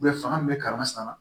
fanga min bɛ kalan san